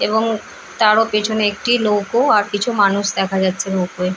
এবং তারও পেছনে একটি নৌকো আর কিছু মানুষ দেখা যাচ্ছে নৌকোয়ে। এবং তারও পেছনে একটি নৌকো আর কিছু মানুষ দেখা যাচ্ছে নৌকোয়ে।